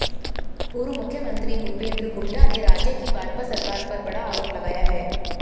पूर्व मुख्यमंत्री भूपेंद्र हुड्डा ने राज्य की भाजपा सरकार पर बड़ा आरोप लगाया है